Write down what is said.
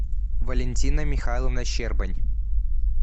валентина михайловна щербань